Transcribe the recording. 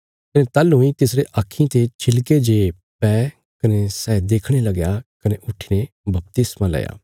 कने ताहलूं इ तिसरे आक्खीं ते छिलके जे पै कने सै देखणे लगया कने उट्ठीने बपतिस्मा लया